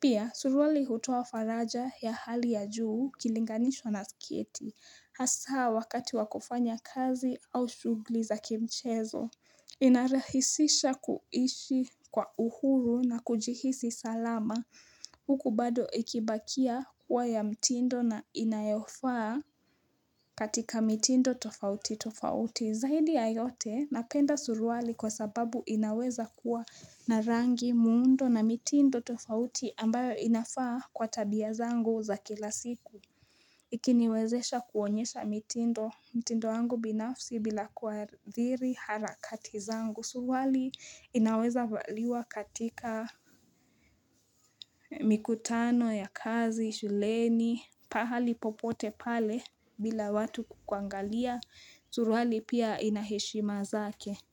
Pia, suruali hutoa faraja ya hali ya juu ikilinganishwa na sketi. Hasaa wakati wa kufanya kazi au shugli za kimchezo. Inarahisisha kuishi kwa uhuru na kujihisi salama. Huku bado ikibakia kuwa ya mtindo na inayofaa katika mtindo tofauti tofauti. Zaidi ya yote napenda suruali kwa sababu inaweza kuwa na rangi muundo na mitindo tofauti ambayo inafaa kwa tabia zangu za kila siku. Ikiniwezesha kuonyesha mitindo, mitindo yangu binafsi bila kuathiri harakati zangu. Suruali inaweza valiwa katika mikutano ya kazi, shuleni, pahali popote pale bila watu kukuangalia. Suruali pia ina heshima zake.